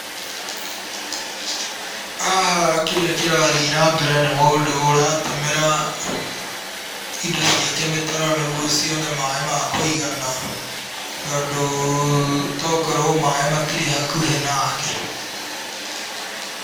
Haha kĩrĩa kĩrathiĩ na mbere nĩ mũndũ ũratemera indo ciake mĩtaro nĩguo cione maaĩ ma kũigana, tondũ to gũkorwo maaĩ matirĩ hakuhĩ nake.